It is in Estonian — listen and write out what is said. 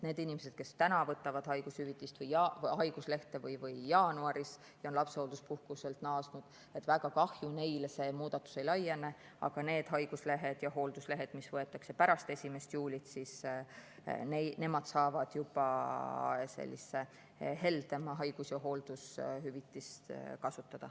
Neile inimestele, kes täna võtavad haiguslehte või jaanuaris ja on lapsehoolduspuhkuselt naasnud, väga kahju küll, see muudatus ei laiene, aga need, kes haiguslehte ja hoolduslehte võtavad pärast 1. juulit, saavad juba heldemat haigus‑ ja hooldushüvitist kasutada.